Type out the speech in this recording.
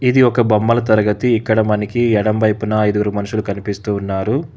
ఇది ఒక బొమ్మల తరగతి ఇక్కడ మనకి ఎడంవైపున ఐదుగురు మనుషులు కనిపిస్తూ ఉన్నారు.